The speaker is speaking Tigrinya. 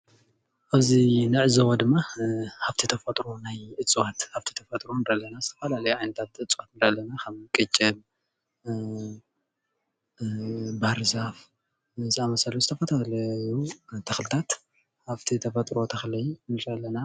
እዚ እንዕዘቦ ድማ ሃፍቲ ተፈጥሮ ናይ እፅዋት ሃፍቲ ተፈጥሮ ዝተፈላለዩ ዓይነት እፅዋት ከም ቅንጭብ፣ ባህርዛፍ ዝኣምሰሉ ዝተፈላለዩ ተክልታት ሃፍቲ ተፈጥሮ ተክሊ ንርኢ ኣለና፡፡